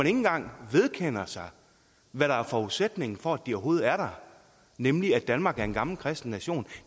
engang vedkender sig hvad der er forudsætningen for at de overhovedet er der nemlig at danmark er en gammel kristen nation